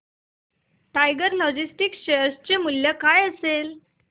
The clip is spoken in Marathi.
टायगर लॉजिस्टिक्स शेअर चे मूल्य काय असेल